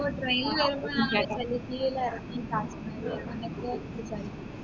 ഇപ്പൊ train ലു വരുമ്പോ നമ്മള് ഡെൽഹിൽ ഇറങ്ങി